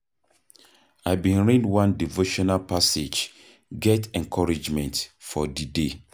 I bin read one devotional passage, get encouragement for di day.